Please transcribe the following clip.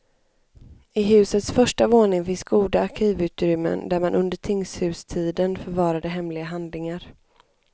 I husets första våning finns goda arkivutrymmen, där man under tingshustiden förvarade hemliga handlingar.